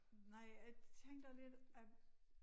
Nej jeg tænkte også lidt at